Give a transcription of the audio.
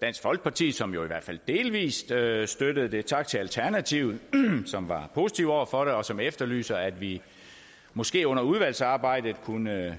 dansk folkeparti som jo i hvert fald delvis støttede støttede det tak til alternativet som er positive over for det og som efterlyser at vi måske under udvalgsarbejdet kunne